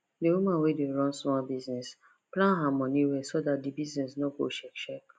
d woman wey dey run small business plan her money well so that d business no go shake shake